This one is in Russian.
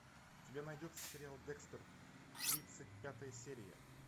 у тебя найдется сериал декстер тридцать пятая серия